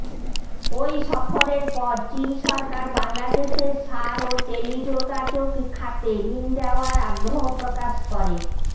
ওই সফরের পর চীন সরকার বাংলাদেশের সার ও টেলিযোগাযোগ খাতে ঋণ দেওয়ার আগ্রহ প্রকাশ করে